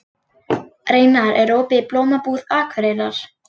Reynar, er opið í Blómabúð Akureyrar?